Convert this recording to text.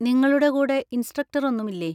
നിങ്ങളുടെ കൂടെ ഇൻസ്‌ട്രക്ടർ ഒന്നും ഇല്ലേ?